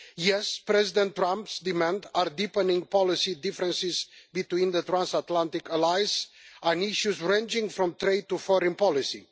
Yes, President Trump's demands are deepening policy differences between the transatlantic allies on issues ranging from trade to foreign policy.